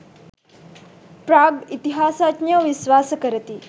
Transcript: ප්‍රාග් ඉතිහාසඥයෝ විශ්වාස කරති